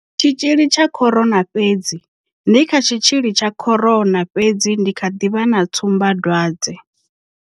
Tshitzhili tsha corona fhedzi ndi kha tshitzhili tsha corona fhedzi ndi kha ḓi vha na tsumbadwadze.